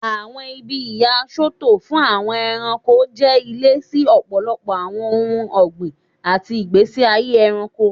Awọn ibi iya Soto fun Awon eranko je ile si ọpọlọpọ awọn ohun ọgbin ati igbesi aye ẹranko.